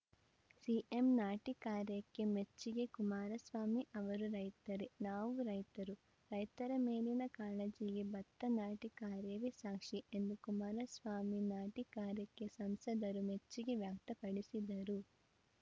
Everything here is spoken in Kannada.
ಸಿಎಂ ನಾಟಿ ಕಾರ್ಯಕ್ಕೆ ಮೆಚ್ಚುಗೆ ಕುಮಾರಸ್ವಾಮಿ ಅವರೂ ರೈತರೇ ನಾವೂ ರೈತರು ರೈತರ ಮೇಲಿನ ಕಾಳಜಿಗೆ ಬತ್ತ ನಾಟಿ ಕಾರ್ಯವೇ ಸಾಕ್ಷಿ ಎಂದು ಕುಮಾರಸ್ವಾಮಿ ನಾಟಿ ಕಾರ್ಯಕ್ಕೆ ಸಂಸದರು ಮೆಚ್ಚುಗೆ ವ್ಯಕ್ತಪಡಿಸಿದರು